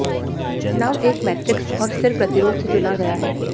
नव एक मैट्रिक्स और सिर प्रतिरोध से चुना गया है